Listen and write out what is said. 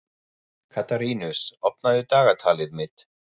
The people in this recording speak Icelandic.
Katarínus, opnaðu dagatalið mitt.